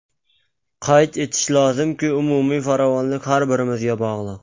Qayd etish lozimki, umumiy farovonlik har birimizga bog‘liq.